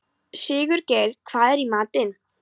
Sigurgeir, hvað er í matinn?